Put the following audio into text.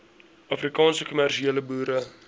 afrikaanse kommersiële boere